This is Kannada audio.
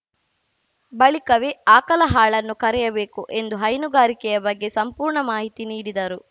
ಬಳಿಕವೇ ಆಕಲ ಹಾಳನ್ನು ಕರೆಯಬೇಕು ಎಂದು ಹೈನುಗಾರಿಕೆಯ ಬಗ್ಗೆ ಸಂಪೂರ್ಣ ಮಾಹಿತಿ ನೀಡಿದರು